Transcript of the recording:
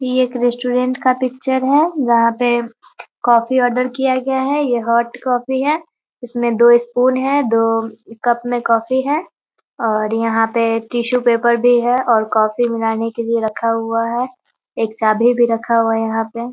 ये एक रेटोरेंट का पिक्चर है जहाँ पे कॉफ़ी ऑर्डर किया गया है। ये हॉट कॉफी है। इसमें दो स्पून है दो कप में कॉफी है और यहाँ पे टिसु पेपर भी है और कॉफी बनाने के लिए रखा हुआ है। एक चाभी भी रखा हुआ है यहाँ पे।